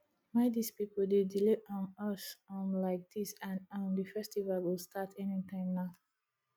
why dis people dey delay um us um like dis and um the festival go start anytime now